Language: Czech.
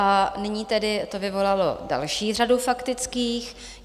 A nyní tedy to vyvolalo další řadu faktických.